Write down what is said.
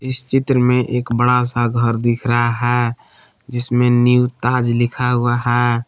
इस चित्र में एक बड़ा सा घर दिख रहा है जिसमें न्यू ताज लिखा हुआ है।